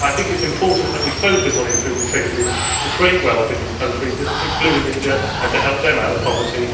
I think it is important that we focus on improving trade agreements to create wealth in these countries, including India, and help them out of poverty.